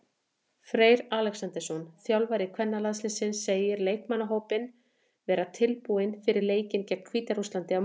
Freyr Alexandersson, þjálfari kvennalandsliðsins, segir leikmannahópinn vera tilbúinn fyrir leikinn gegn Hvíta-Rússlandi á morgun.